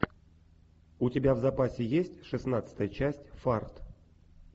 у тебя в запасе есть шестнадцатая часть фарт